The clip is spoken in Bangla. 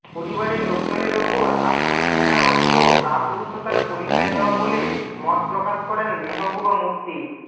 পরিবারের লোকজনের ওপর আক্রোশ মেটার অর্থ কাপুরুষতার পরিচয় দেওয়া বলে মত প্রকাশ করেন মেহবুবা মুফতি